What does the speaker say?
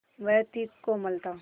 वह थी कोमलता